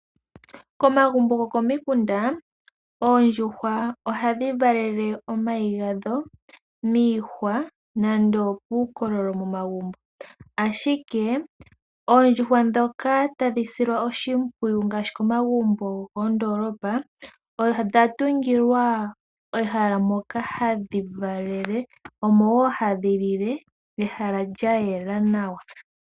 Komagumbo gokomikunda Oondjuhwa ohadhi valele omayi gadho miihwa nenge puukoololo momagumbo. Ashike Oondjuhwa dhoka tadhi silwa oshimpwiyu ngaashi komagumbo go koondoolopa odha tungilwa ehala moka hadhi valele. Omo woo hadhi lile, ehala lya yela nawa